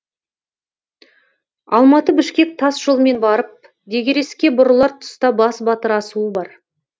алматы бішкек тас жолымен барып дегереске бұрылар тұста басбатыр асуы бар